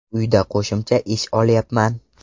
Uyda qo‘shimcha ish olyapman.